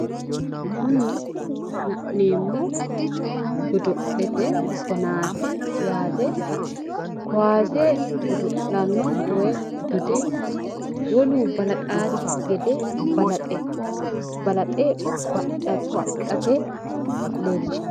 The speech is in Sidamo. Kuni la'neemmohu godo'lete danaati yaate. Kuwase godo'lanno woyi dode wolu balaxaasikki gede balaxe ba'latto adhino leellishanno.